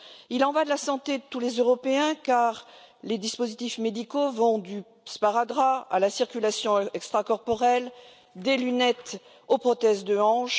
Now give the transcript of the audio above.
Il en va de la santé de tous les Européens, car les dispositifs médicaux vont du sparadrap à la circulation extracorporelle, des lunettes aux prothèses de hanche